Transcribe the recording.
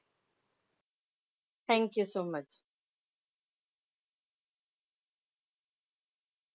Thank you so much.